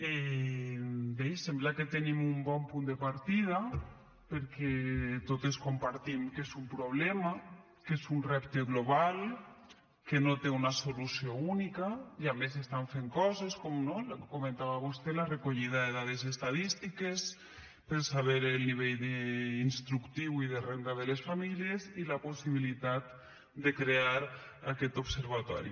bé sembla que tenim un bon punt de partida perquè totes compartim que és un problema que és un repte global que no té una solució única i a més s’estan fent coses com no el que comentava vostè la recollida de dades estadístiques per saber el nivell instructiu i de renda de les famílies i la possibilitat de crear aquest observatori